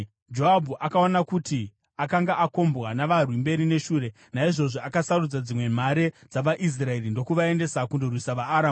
Joabhu akaona kuti akanga akombwa navarwi mberi neshure; naizvozvo akasarudza dzimwe mhare dzavaIsraeri ndokuvaendesa kundorwisa vaAramu.